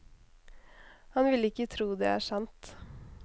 Han ville ikke tro det er sant.